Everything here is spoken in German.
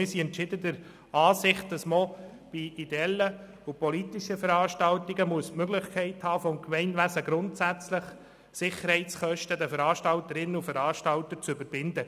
Wir sind entschieden der Ansicht, dass man bei politischen und ideellen Veranstaltungen die Möglichkeit haben muss, die Sicherheitskosten den Veranstalterinnen und Veranstaltern weiter zu verrechnen.